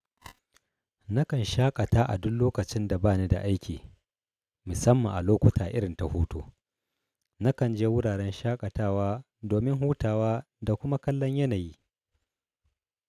Nakan shaƙata a dun lokacin da ba ni da aiki, musamman a lokuta irin ta hutu. Nakan je wuraren shaƙatawa domin hutawa da kuma kallon yanayi.